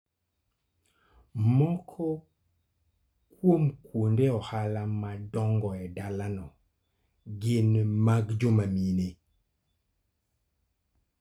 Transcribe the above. Moko kuom kuonde ohala madongo e dalano gin mag joma mine.